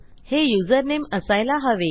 हे युझरनेम असायला हवे